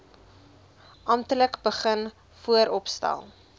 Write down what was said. amptelik begin vooropstel